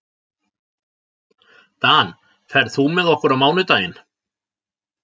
Dan, ferð þú með okkur á mánudaginn?